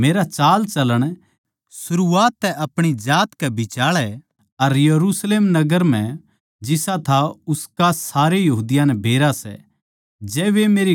मेरा चालचलण सरूआत तै अपणी जात कै बिचाळै अर यरुशलेम नगर म्ह जिसा था उसका सारे यहूदियाँ नै बेरा सै